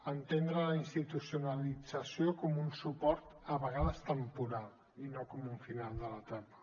entendre la institucionalització com un suport a vegades temporal i no com un final de l’etapa